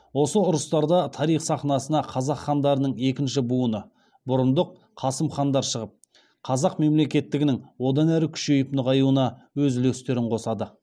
осы ұрыстарда тарих сахнасына қазақ хандарының екінші буыны бұрындық қасым хандар шығып қазақ мемлекеттігінің одан әрі күшейіп нығаюына өз үлестерін қосады